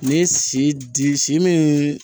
N'i ye si di si miIn